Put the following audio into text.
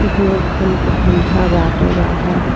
एक लोखन के खंभा बाटे बाहर।